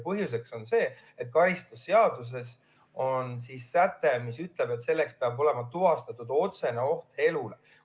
Põhjus on see, et karistusseadustikus on säte, mis ütleb, et peab olema tuvastatud otsene oht elule.